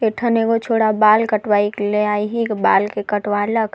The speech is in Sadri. एठन एगो छोड़ा बाल कटवाई ले अइहे बाल के कटवा लक।